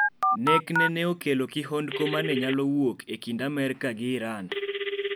Nekne ne okelo kihondko mane nyalowuok e kind amerk gi Iran.